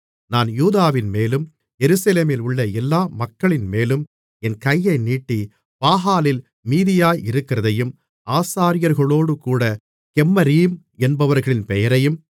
நான் யூதாவின்மேலும் எருசலேமிலுள்ள எல்லா மக்களின்மேலும் என் கையை நீட்டி பாகாலில் மீதியாயிருக்கிறதையும் ஆசாரியர்களோடு கூட கெம்மரீம் என்பவர்களின் பெயரையும்